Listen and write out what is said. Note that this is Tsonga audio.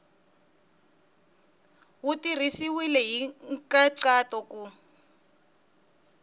wu tirhisiwile hi nkhaqato ku